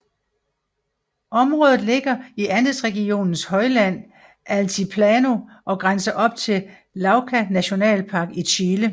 Området ligger i Andesregionens højland Altiplano og grænser op til Lauca nationalpark i Chile